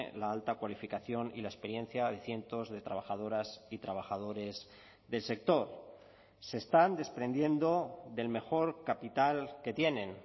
la alta cualificación y la experiencia de cientos de trabajadoras y trabajadores del sector se están desprendiendo del mejor capital que tienen